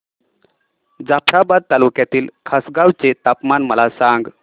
जाफ्राबाद तालुक्यातील खासगांव चे तापमान मला सांग